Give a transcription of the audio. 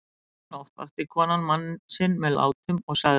Um miðja nótt vakti konan mann sinn með látum og sagði